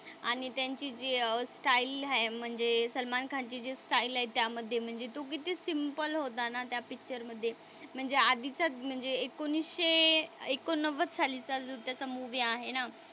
आणि त्यांची जी अह स्टाईल आहे म्हणजे सलमान खानची जी स्टाईल आहे त्यामध्ये म्हणजे तो किती सिम्पल होता ना त्या पिक्चरमधे. म्हणजे आधीच्याच म्हणजे एकोणीसशे एकोणनव्वद सालीचा जो त्याचा मूवी आहे ना,